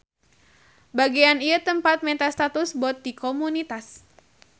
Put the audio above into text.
Bagean ieu tempat menta status bot ti komunitas.